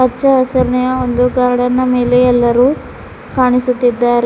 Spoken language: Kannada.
ಹಚ್ಚಹಸಿರಿನ ಒಂದು ಗಾರ್ಡನ್ ನ ಮೇಲೆ ಎಲ್ಲರೂ ಕಾಣಿಸುತ್ತಿದ್ದಾರೆ.